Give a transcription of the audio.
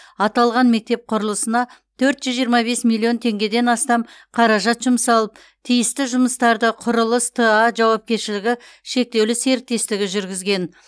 аталған мектеп құрылысына төрт жүз жиырма бес миллион теңгеден астам қаражат жұмсалып тиісті жұмыстарды құрылыс т а жауапкершілігі шектеулі серіктестігі жүргізген